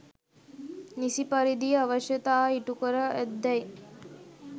නිසි පරිදි අවශ්‍යතා ඉටු කර ඇත්දැයි